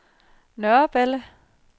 Nørreballe